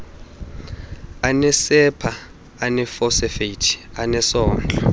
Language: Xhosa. anesepha eneefosfeythi anesondlo